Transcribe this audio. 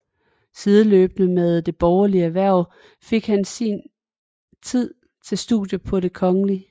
Sideløbende med det borgerlige erhverv fik han tid til studier på Det Kgl